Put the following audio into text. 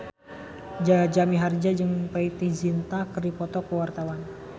Jaja Mihardja jeung Preity Zinta keur dipoto ku wartawan